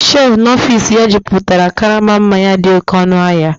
shelf n'ọfịs ya jupụtara karama mmanya dị oké ọnụ ahịa